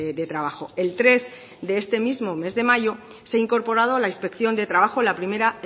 de trabajo el tres de este mismo mes de mayo se ha incorporado a la inspección de trabajo la primera